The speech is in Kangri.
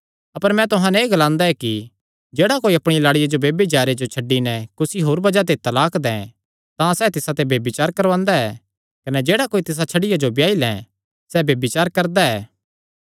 अपर मैं तुहां नैं एह़ ग्लांदा ऐ कि जेह्ड़ा कोई अपणिया लाड़िया जो ब्यभिचारे जो छड्डी नैं कुसी होर बज़ाह ते तलाक दैं तां सैह़ तिसाते ब्यभिचार करवांदा ऐ कने जेह्ड़ा कोई तिसा छड्डिया जो ब्याई लैं सैह़ ब्यभिचार करदा ऐ